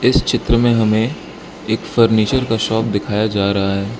इस चित्र मे हमे एक फर्नीचर का शॉप दिखाया जा रहा --